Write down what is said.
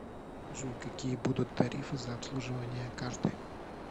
джой какие будут тарифы за обслуживание карты